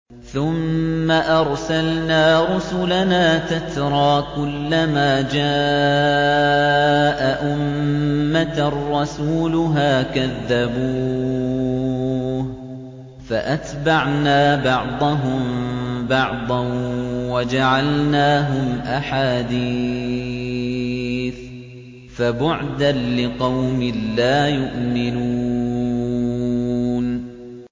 ثُمَّ أَرْسَلْنَا رُسُلَنَا تَتْرَىٰ ۖ كُلَّ مَا جَاءَ أُمَّةً رَّسُولُهَا كَذَّبُوهُ ۚ فَأَتْبَعْنَا بَعْضَهُم بَعْضًا وَجَعَلْنَاهُمْ أَحَادِيثَ ۚ فَبُعْدًا لِّقَوْمٍ لَّا يُؤْمِنُونَ